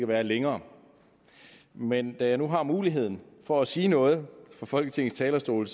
være længere men da jeg nu har muligheden for at sige noget fra folketingets talerstol